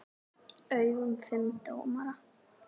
augum fimm dómara.